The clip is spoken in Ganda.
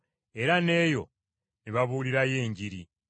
era n’eyo ne babuulirirayo Enjiri.